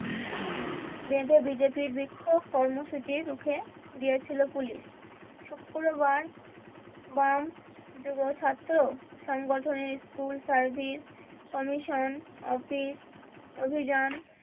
বেঁধে বিজেপির বিক্ষোক কর্মসূচি রুখে দিয়েছিলো পুলিশ শুক্রবার বাম যুব ছাত্র সংগঠনের স্কুল সার্ভিস কমিশন অফিস অভিযান